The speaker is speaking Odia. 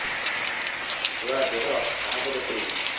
ଛୁଆ ଦେହ କାହାକୁ ଦେଖେଇବି